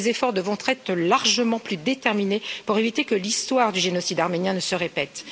Ses efforts devront être largement plus déterminés pour éviter que l'histoire du génocide arménien ne se répète.